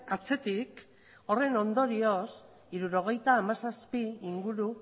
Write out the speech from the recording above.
atzetik horren ondorioz hirurogeita hamazazpi inguru